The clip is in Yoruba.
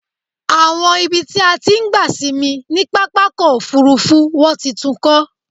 Àwọn ibi tí a ti ń gba sinmi ni pápákọ̀ òfúrúfú wọ́n ti tún kọ́.